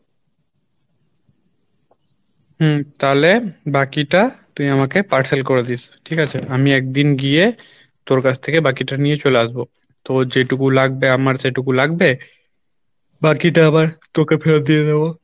হম তালে বাকিটা তুই আমাকে parcel করে দিস ঠিক আছে? আমি একদিন গিয়ে তোর কাছ থেকে বাকিটা নিয়ে চলে আসবো তোর যেটুকু লাগবে আমার সেটুকু লাগবে বাকিটা আবার তোকে ফেরত দিয়ে দেবো